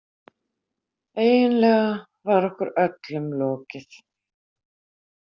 Eiginlega var okkur öllum lokið.